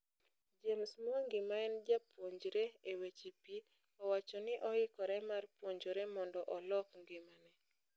James Mwangi maen japuonjre e weche pii owacho ni oikore mar puonjore mondo olok ngimane.